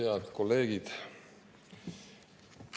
Head kolleegid!